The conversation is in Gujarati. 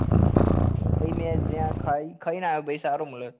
અરે ભાઈ મેં ત્યાં ખાઈ ખાઈ ને આવ્યો સારો મળે